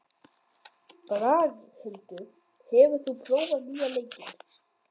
Braghildur, hefur þú prófað nýja leikinn?